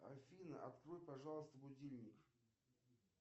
афина открой пожалуйста будильник